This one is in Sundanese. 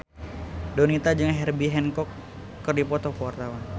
Donita jeung Herbie Hancock keur dipoto ku wartawan